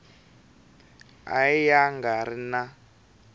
a ya nga ri na